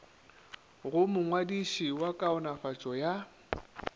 go mongwadiši wa kaonafatšo ya